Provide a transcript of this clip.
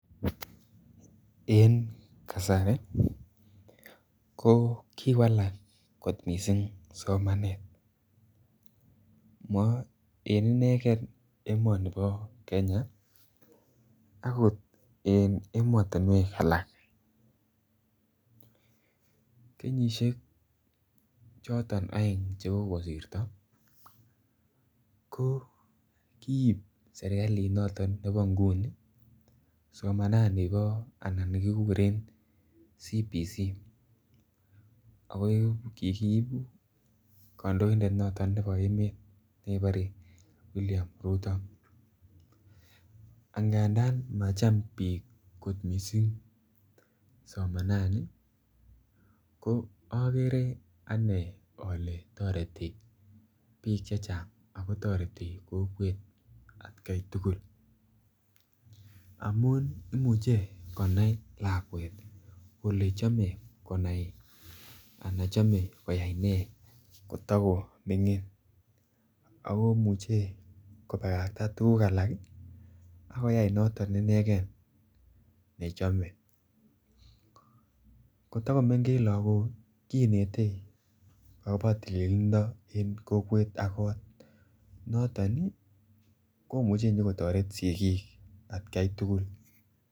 En kasari ko kiwalak kot missing somanet, mo en inegen emonibo Kenya akot en emotinwek alak. Kenyisiek oeng choton che kogosirto ko kii serkalit noton nebo nguni somanani bo anan nikiguren CBC ako kiibu kondoindet noton nebo emet nekibore William ruto angandan macham biik kot missing somanani ko ogere anee ole toreti biik chechang ako toreti kokwet atkai tugul amun imuche konai lakwet ole chome ana kole chome koyay nee kotoko mingin ako imuche kobakakta tuguk alak ii ak koyay noton inegen nechome. Koto ko mengech logok ii kinete akobo tilililndo en kokwet ak kot noton ii komuche konyo kotoret sigik atkai tugul